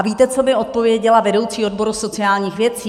A víte, co mi odpověděla vedoucí odboru sociálních věcí?